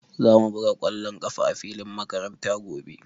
Za mu buga ƙwallon ƙafa a filin makaranta gobe.